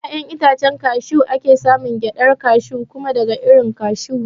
Daga ƴaƴan itacen kashew ake samun gyaɗar kashew kuma daga irin kashu ne